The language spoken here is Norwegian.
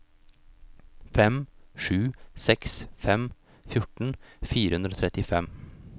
fem sju seks fem fjorten fire hundre og trettifem